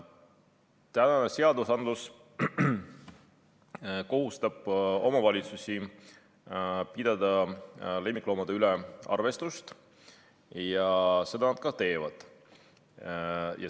Praegune seadus kohustab omavalitsusi pidama lemmikloomade üle arvestust ja seda nad ka teevad.